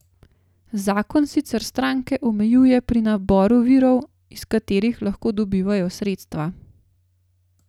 Zakon sicer stranke omejuje pri naboru virov, iz katerih lahko dobivajo sredstva.